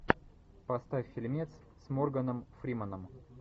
поставь фильмец с морганом фрименом